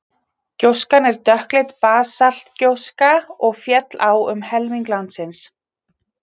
gjóskan er dökkleit basaltgjóska og féll á um helming landsins